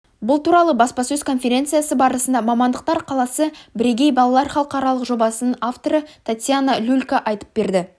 бұл туралы баспасөз конференциясы барысында мамандықтар қаласы бірегей балалар халықаралық жобасының авторы татьяна люлька айтып берді